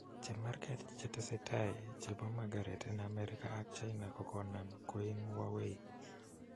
Chemarget chetesetia chepo mugharet en amerika ak china ko konam kuim Huawei